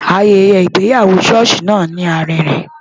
Ayẹyẹ ìgbéyàwó ṣọ́ọ̀ṣì náà lárinrin.